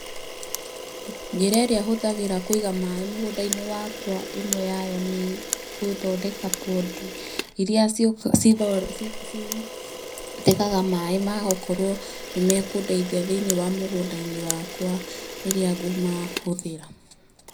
Njĩra ĩrĩa hũthagĩra kũiga maĩ mũgũnda-inĩ wakwa, ĩmwe yayo nĩ gũthondeka pondi irĩa citegaga maĩ ma gũkorwo nĩmekũndeithia thĩ-inĩ wa mũgũnda-inĩ wakwa rĩrĩa ngũmahũthĩra.